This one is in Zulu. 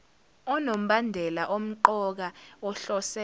onombandela omqoka ohlose